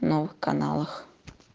новых каналах